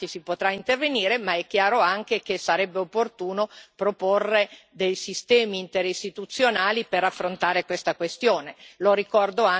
È chiaro che, in termini di modifica dei trattati, si potrà intervenire, ma è chiaro anche che sarebbe opportuno proporre dei sistemi interistituzionali per affrontare questa questione.